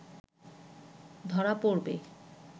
ধরা পড়বে